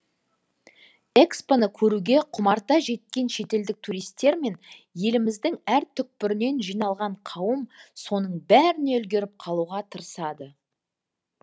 экспо ны көруге құмарта жеткен шетелдік туристер мен еліміздің әр түкпірінен жиналған қауым соның бәріне үлгеріп қалуға тырысады